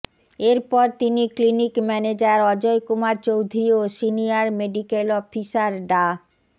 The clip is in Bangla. এরপর তিনি ক্লিনিক ম্যানেজার অজয় কুমার চৌধুরী ও সিনিয়র মেডিকেল অফিসার ডা